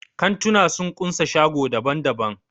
Kantuna sun kunsa shago daban-daban.